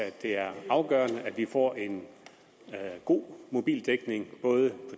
at det er afgørende at vi får en god mobildækning både på